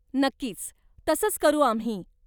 नक्कीच, तसंच करू आम्ही.